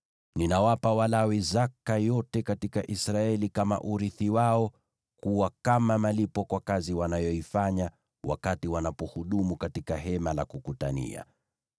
“Ninawapa Walawi zaka yote katika Israeli kama urithi wao kuwa kama malipo kwa kazi wanayoifanya wakati wanapohudumu katika Hema la Kukutania.